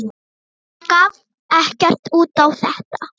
Hann gaf ekkert út á þetta.